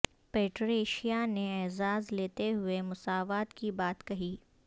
Patricia نے اعزاز لیتے ہوئے مساوات کی بات کہی